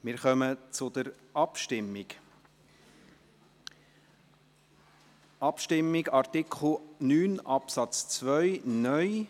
Wir kommen zur Abstimmung über Artikel 9 Absatz 2 (neu).